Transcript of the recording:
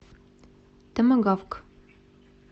томагавк